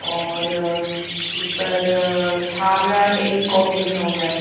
और अ इसपर छाबड़ा टेलिकॉम लिखा हुआ है ।